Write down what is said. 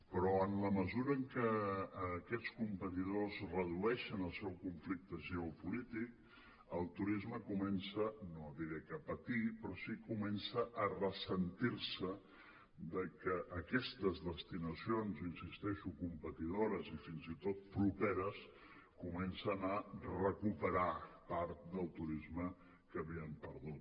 però en la mesura en què aquests competidors redueixen el seu conflicte geopolític el turisme comença no diré que a patir però sí que comença a ressentir se de que aquestes destinacions hi insisteixo competidores i fins i tot properes comencen a recuperar part del turisme que havien perdut